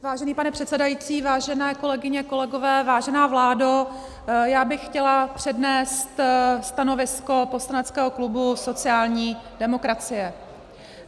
Vážený pane předsedající, vážené kolegyně, kolegové, vážená vládo, já bych chtěla přednést stanovisko poslaneckého klubu sociální demokracie.